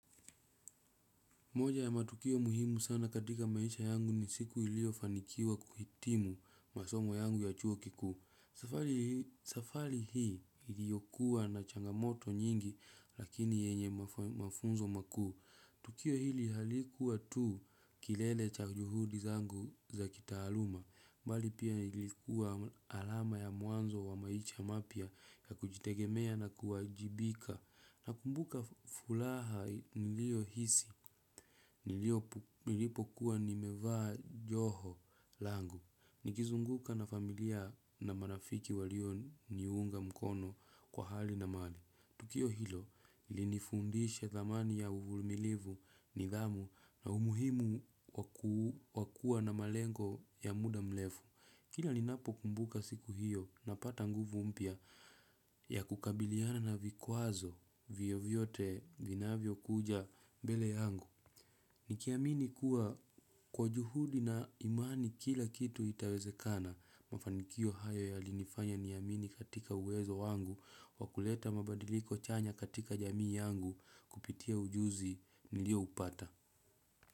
Moja ya matukio muhimu sana katika maisha yangu ni siku ilio fanikiwa kuhitimu masomo yangu ya chuo kikuu safari. Safali hii iliokuwa na changamoto nyingi lakini yenye mafunzo makuu. Tukio hili halikuwa tuu kilele cha juhudi zangu za kitaaluma. Mbali pia ilikuwa alama ya mwanzo wa maisha mapya ya kujitegemea na kuwajibika. Nakumbuka furaha niliohisi. Nilipo kuwa nimevaa joho langu. Nikizunguka na familia na marafiki walio niunga mkono kwa hali na mali. Tukio hilo, lilinifundisha thamani ya uvumilivu nidhamu na umuhimu wa kua na malengo ya muda mrefu. Kila linapo kumbuka siku hiyo na pata nguvu mpya ya kukabiliana na vikwazo vyovyote vinavyo kuja mbele yangu. Nikiamini kuwa kwa juhudi na imani kila kitu itawezekana mafanikio hayo yalinifanya niamini katika uwezo wangu wakuleta mabadiliko chanya katika jamii yangu kupitia ujuzi nilio upata.